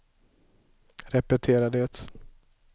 repetera det